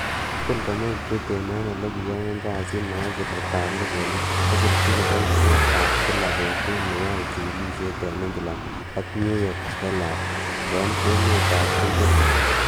Ki til komeny Britain, ele kiyai kasit nebo siretab logoiwek, kosirchi kiboityo ab kila betut, ne yoe chigilisiet en England ak New York Herald en emetab chumbek.